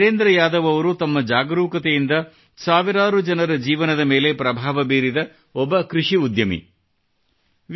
ಶ್ರೀ ವಿರೇಂದ್ರ ಯಾದವ್ ಅವರು ತಮ್ಮ ಜಾಗರೂಕತೆಯಿಂದ ಸಾವಿರಾರು ಜನರ ಜೀವನದ ಮೇಲೆ ಪ್ರಭಾವ ಬೀರಿದ ಒಬ್ಬ ಕೃಷಿ ಉದ್ಯಮಿ